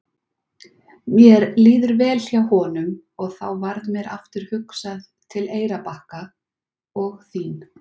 Mér líður vel hjá honum og þá varð mér aftur hugsað til Eyrarbakka og þín.